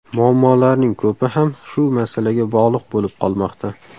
Muammolarning ko‘pi ham shu masalaga bog‘liq bo‘lib qolmoqda.